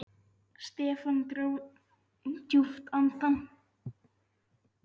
Stefán dró djúpt andann.